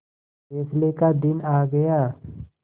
फैसले का दिन आ गया